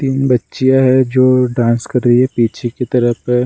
तीन बच्चियाँ हैं जो डांस कर रही हैं पीछे की तरफ है ।